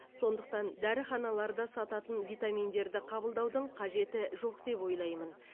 сондықтан дәріханаларда сататын витаминдерді қабылдаудың қажеті жоқ деп ойлаймын